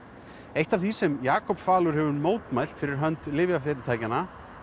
eitt af því sem Jakob falur hefur mótmælt fyrir hönd lyfjafyrirtækjanna